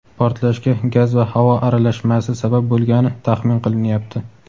Portlashga gaz va havo aralashmasi sabab bo‘lgani taxmin qilinyapti.